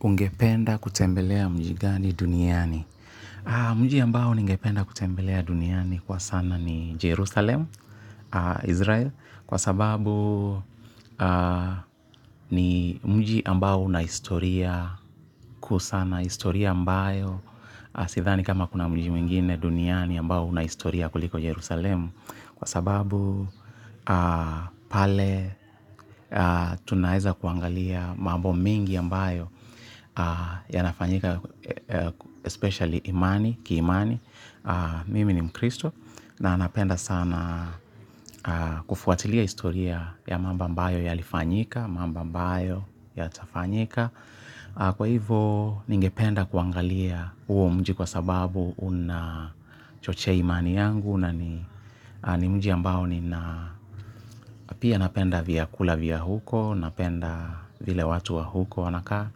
Ungependa kutembelea mji gani duniani. Mji ambao ningependa kutembelea duniani kwa sana ni Jerusalem, Israel, kwa sababu ni mji ambao una historia kwa usana, historia ambayo, sidhani kama kuna mji mwingine duniani ambao una historia kuliko Jerusalem, kwa sababu pale tunaeza kuangalia mambo mingi ambayo yanafanyika especially imani, kiimani, mimi ni mkristo na napenda sana kufuatilia historia ya mambo ambayo ya lifanyika, mambo ambayo yatafanyika kwa hivo ningependa kuangalia huo mji kwa sababu unachochea imani yangu na ni mji ambao ninapenda vyakula vya huko, napenda vile watu wa huko wanakaa